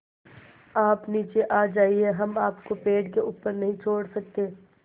आप नीचे आ जाइये हम आपको पेड़ के ऊपर नहीं छोड़ सकते